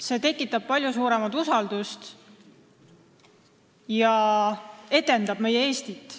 See tekitab palju suuremat usaldust ja edendab meie Eestit.